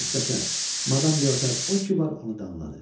Müxtəsər, madam Leotar o ki var, onu danladı.